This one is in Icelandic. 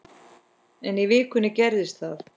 En í vikunni gerðist það.